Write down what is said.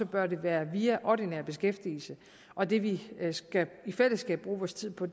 bør det være via ordinær beskæftigelse og det vi i fællesskab skal bruge vores tid på